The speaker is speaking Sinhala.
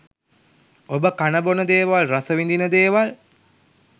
ඔබ කන බොන දේවල් රස විඳින දේවල්